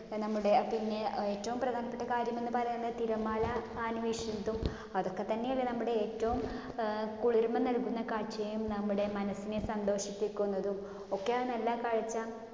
നമ്മടെ. പിന്നെ ഏറ്റവും പ്രധാനപ്പെട്ട കാര്യം എന്ന് പറഞ്ഞ തിരമാല . അതൊക്കെത്തന്നെയല്ലേ നമ്മടെ ഏറ്റവും അഹ് കുളിർമ്മ നല്കുന്ന കാഴ്ചയും നമ്മുടെ മനസ്സിനെ സന്തോഷിപ്പിക്കുന്നതും. ഒക്കെയാ നല്ല കാഴ്ച